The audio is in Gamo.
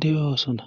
de7oosoda